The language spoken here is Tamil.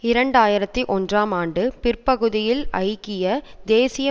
இரண்டு ஆயிரத்தி ஒன்றாம் ஆண்டு பிற்பகுதியில் ஐக்கிய தேசிய